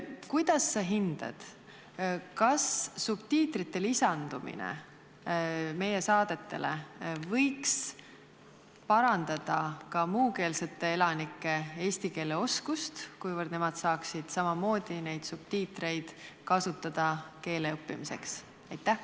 Kuidas sa hindad, kas subtiitrite lisandumine meie saadetele võiks parandada ka muukeelsete elanike eesti keele oskust, kuivõrd nemad saaksid samamoodi neid subtiitreid kasutada keele õppimiseks?